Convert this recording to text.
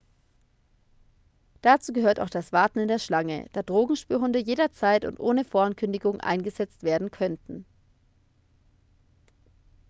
dazu gehört auch das warten in der schlange da drogenspürhunde jederzeit und ohne vorankündigung eingesetzt werden könnten